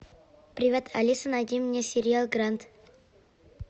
привет алиса найди мне сериал гранд